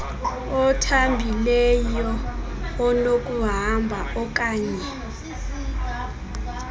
othambileyo onokuhamba oaknye